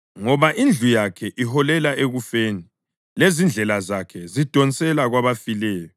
Ngoba indlu yakhe iholela ekufeni lezindlela zakhe zidonsela kwabafileyo.